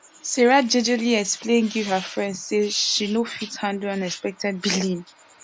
sarah jejely explain give her friend say she no fit handle unexpected billing